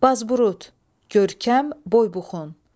Bazburud, görkəm, boybuxun.